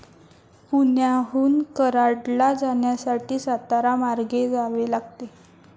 पुण्याहून कराडला जाण्यासाठी, सातारा मार्गे जावे लागते.